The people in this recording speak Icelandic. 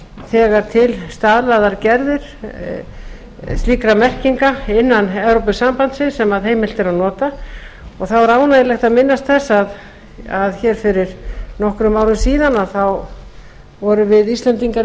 þegar til staðlaðar gerðir slíkra merkinga innan evrópusambandsins sem heimilt er að nota þá er ánægjulegt að minnast þess að hér fyrir nokkrum árum síðan vorum við íslendingar í